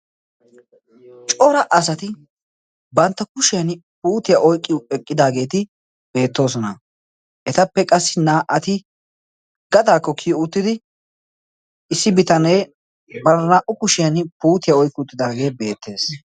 cora asati bantta kushiyan puutiyaa oyqqiy eqqidaageeti beettoosona. etappe qassi naa'ati gataakko kiyo uttidi issi bitanee bara naa'u kushiyan puutiyaa oyqqi uttidaagee beettees